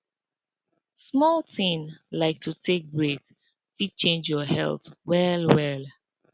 small thing like to take break fit change your health well well